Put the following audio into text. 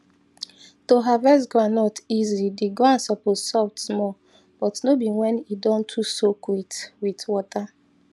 to harvest groundnut easy the ground suppose soft small but no be when e don too soak with with water